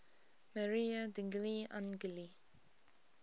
maria degli angeli